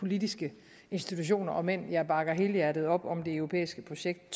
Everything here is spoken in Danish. politiske institutioner om end jeg bakker helhjertet op om det europæiske projekt